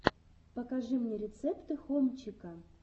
покажи мне рецепты хомчика